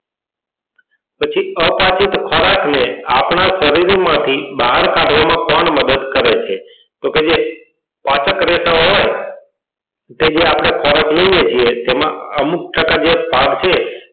પછી અપાચિત ખોરાક ને આપણા શરીર માં થી બહાર કાઢવા માં કોણ મદદ કરે છે તો કે જે પાચક રેષાઓ હોય કે જે આપડે ખોરાક લઈએ છીએ તેમાં અમુક ટકા જે ભાગ છે